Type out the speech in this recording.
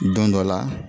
Don dɔ la